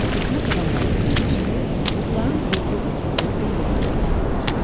Hökumət adamları bilirmiş ki, Muxtarın oğlu da kəndin ən gözəl qızını sevir.